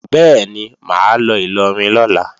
Bẹ́ẹ̀ni, mà á lọ Ìlọrin lọ́la